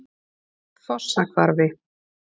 Fossahvarfi